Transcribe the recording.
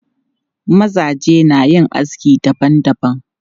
Mazaje na yin aski dabam dabam.